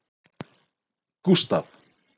Gústav